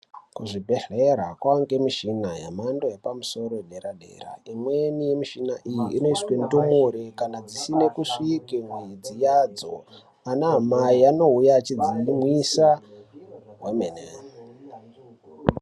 Kuzvibhedhlera kwakuwanikwa mishina yemhando yepamusoro yedera dera imweni yemushina iyi inoiswa ndumure kana dzisina kusvika mwedzi yadzo ama amai anouya achimwisa kwemene .